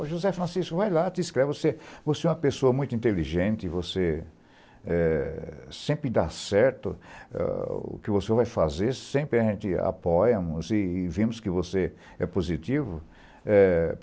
O José Francisco, vai lá, te inscreve, você você é uma pessoa muito inteligente, você eh sempre dá certo ah o que você vai fazer, sempre a gente apoia-nos e vemos que você é positivo, eh